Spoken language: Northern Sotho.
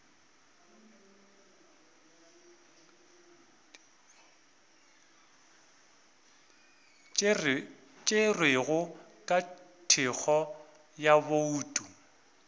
tšerwego ka thekgo ya bouto